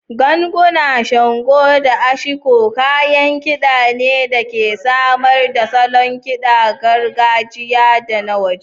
Ganguna, shango, da ashiko kayan kida ne da ke samar da salon kidan gargajiya da na waje.